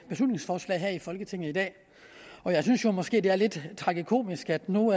beslutningsforslag her i folketinget i dag og jeg synes jo måske det er lidt tragikomisk at nu hvor